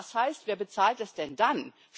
Das heißt Wer bezahlt das denn dann?